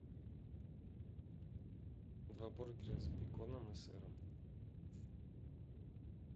два бургера с беконом и сыром